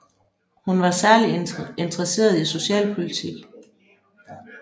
Hun var særligt interesseret i socialpolitik